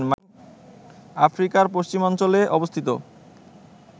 আফ্রিকার পশ্চিমাঞ্চলে অবস্থিত